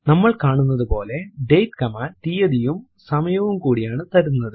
നമ്മൾ കാണുന്നതുപോലെ date command തീയതിയും സമയവും കൂടിയാണ് തരുന്നത്